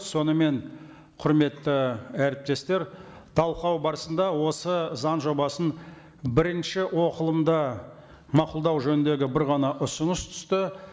сонымен құрметті әріптестер талқылау барысында осы заң жобасын бірінші оқылымда мақұлдау жөніндегі бір ғана ұсыныс түсті